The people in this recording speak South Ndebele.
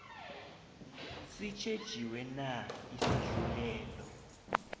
sitjhejiwe na isahlulelo